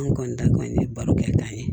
An kɔni ta kɔni ye barokɛtan ye